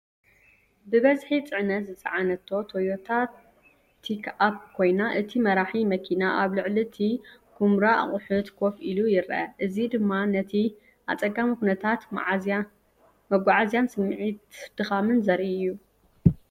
ብብዝሒ ጽዕነት ዝጸዓነት ቶዮታ ፒክኣፕ ኮይና፡ እቲ መራሒ መኪና ኣብ ልዕሊ እቲ ኵምራ ኣቑሑት ኮፍ ኢሉ ይረአ። እዚ ድማ ነቲ ኣጸጋሚ ኩነታት መጓዓዝያን ስምዒት ድኻምን ዘርኢ እዩ።